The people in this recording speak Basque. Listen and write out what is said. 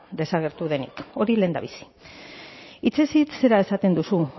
desagertu denik hori lehendabizi hitzez hitz zera esaten duzu